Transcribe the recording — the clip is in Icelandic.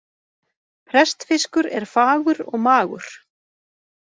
Prestfiskur er fagur og magur.